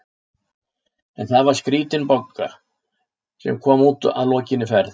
En það var skrítin Bogga sem kom út að lokinni ferð.